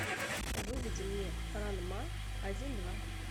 выведи мне ранма один два